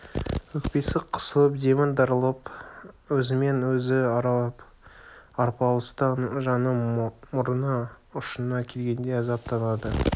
өкпесі қысылып демі тарылып өзімен өзі арпалыстан жаны мұрын ұшына келгендей азаптанды